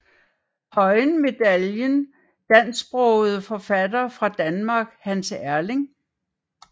Høyen Medaljen Dansksprogede forfattere fra Danmark Hans Erling